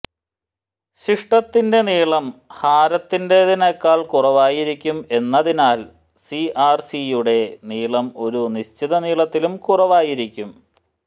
ശിഷ്ടത്തിന്റെ നീളം ഹാരകത്തിന്റെതിനെക്കാൾ കുറവായിരിക്കും എന്നതിനാൽ സിആർസിയുടെ നീളം ഒരു നിശ്ചിത നീളത്തിലും കുറവായിരിക്കും